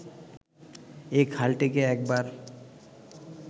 এই খালটিকে একবার